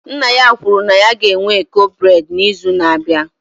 Nna ya kwuru na ya ga-enwe eko breị́d n'izu na-abịa